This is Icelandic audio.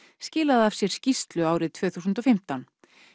skilaði af sér skýrslu árið tvö þúsund og fimmtán